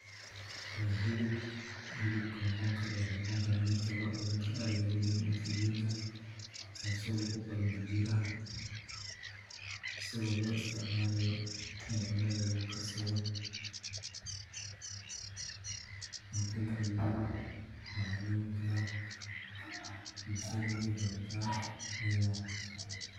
Waa hilib wuxuu noqon karaa midka ariga looda iyo geelka asago loo isticmaalo in cuntada lagu darsado bulshada waay gadataa cuntada ayuu macaneeya.